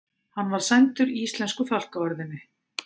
Hann var sæmdur íslensku fálkaorðunni